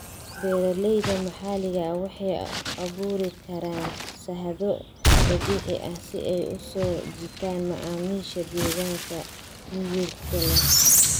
Beeralayda maxalliga ah waxay abuuri karaan shahaado dabiici ah si ay u soo jiitaan macaamiisha deegaanka miyirka leh.